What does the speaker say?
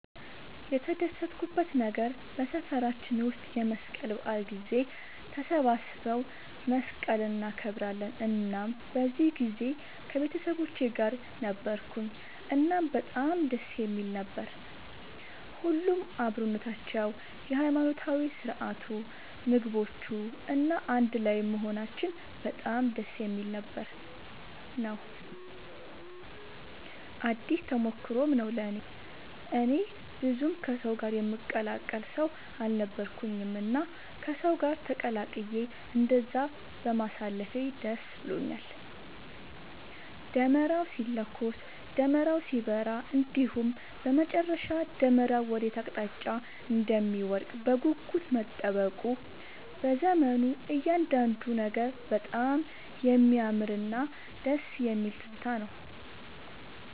የተደሰትኩበት ነገር በሰፈራችን ውስጥ የመስቀል በዓል ጊዜ ተሰባስበው መስቀልን እናከብራለን እናም በዚህ ጊዜ ከቤተሰቦቼ ጋር ነበርኩኝ እናም በጣም ደስ የሚል ነበር። ሁሉም አብሮነታቸው፣ የሃይማኖታዊ ስርዓቱ፣ ምግቦቹ፣ እና አንድ ላይም መሆናችን በጣም ደስ የሚል ነበር ነው። አዲስ ተሞክሮም ነው ለእኔ። እኔ ብዙም ከሰው ጋር የምቀላቀል ሰው አልነበርኩኝም እና ከሰው ጋር ተቀላቅዬ እንደዛ በማሳለፌ ደስ ብሎኛል። ደመራው ሲለኮስ፣ ደመራው ሲበራ እንዲሁም በመጨረሻ ደመራው ወዴት አቅጣጫ እንደሚወድቅ በጉጉት መጠበቁ፣ መዘመሩ እያንዳንዱ ነገር በጣም የሚያምርና ደስ የሚል ትዝታ ነው።